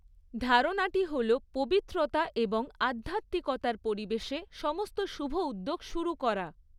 ধারণাটি হল পবিত্রতা এবং আধ্যাত্মিকতার পরিবেশে সমস্ত শুভ উদ্যোগ শুরু করা।